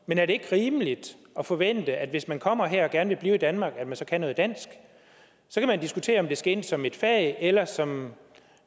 men er det ikke rimeligt at forvente at man hvis man kommer her og gerne vil blive i danmark så kan noget dansk så kan man diskutere om det skal ind som et fag eller som